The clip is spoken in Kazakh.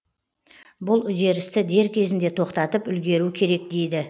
бұл үдерісті дер кезінде тоқтатып үлгеру керек дейді